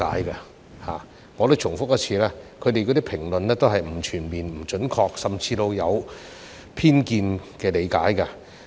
讓我重複一次，他們的評論都不全面、不準確，甚至帶有偏見的理解。